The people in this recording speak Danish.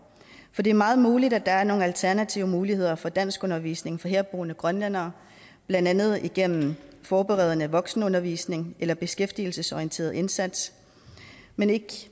det er meget muligt at der er nogle alternative muligheder for danskundervisning for herboende grønlændere blandt andet igennem forberedende voksenundervisning eller beskæftigelsesorienteret indsats men ikke